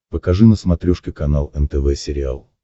покажи на смотрешке канал нтв сериал